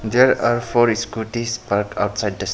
There are four scootys parked outside this --